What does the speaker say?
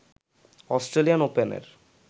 Australian ওপেনের